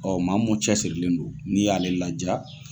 Ɔ maa mun cɛ sirilen don n'i y'a le ladiya!